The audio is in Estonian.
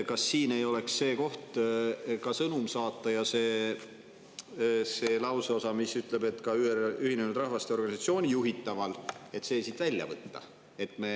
Kas siin ei oleks see koht, kus võiks ka sõnumi saata ja lauseosa "Ühinenud Rahvaste Organisatsiooni juhitaval" siit välja võtta?